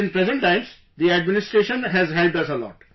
But in present times, the administration has helped us a lot